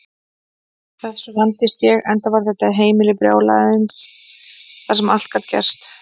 Þessu vandist ég, enda var þetta heimili brjálæðisins þar sem allt gat gerst.